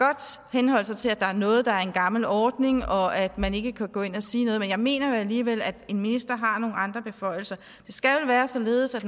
henholde sig til at der er noget der er en gammel ordning og at man ikke kan gå ind og sige noget men jeg mener jo alligevel at en minister har nogle andre beføjelser det skal vel være således at